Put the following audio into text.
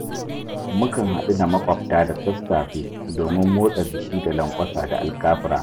Mu kan haɗu da maƙwabta da sassafe domin motsa jiki da lanƙwasa da alkafura.